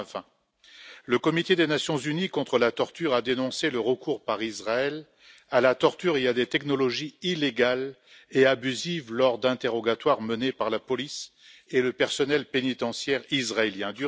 2020. Le comité des Nations unies contre la torture a dénoncé le recours par Israël à la torture et à des technologies illégales et abusives lors d'interrogatoires menés par la police et le personnel pénitentiaire israéliens